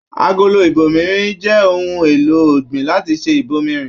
Agolo ibòmírin jẹ ohùn èlò ọ̀gbìn láti ṣe ibòmírin.